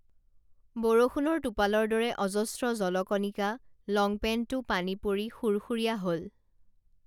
বৰষুণৰ টোপালৰ দৰে অজস্ৰ জলকণিকা লংপেন্টটো পানী পৰি সুৰসুৰীয়া হল